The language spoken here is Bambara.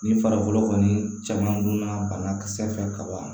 Ni farikolo kɔni caman donna banakisɛ fɛ ka ban